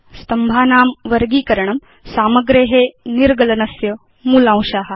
स्तम्भानां वर्गीकरणम् सामग्रे निर्गलनस्य मूलांशा